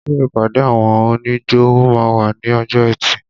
Ṣé ìpàdé àwọn oníjó máa wà ní ọjọ́ ẹtì?